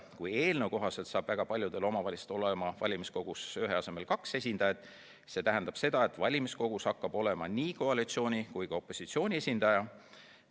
Kui eelnõu kohaselt saab väga paljudel omavalitsustel olema valimiskogus ühe asemel kaks esindajat, siis see tähendab seda, et valimiskogus hakkab olema nii koalitsiooni kui ka opositsiooni esindaja.